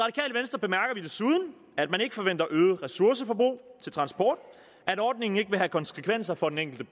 i desuden at man ikke forventer øget ressourceforbrug til transport at ordningen ikke vil have konsekvenser for den enkelte